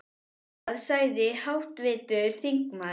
Hvað sagði háttvirtur þingmaður?